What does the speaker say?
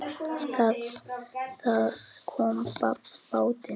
Það kom babb bátinn.